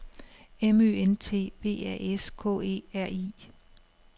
M Ø N T V A S K E R I